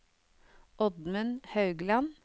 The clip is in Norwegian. Oddmund Haugland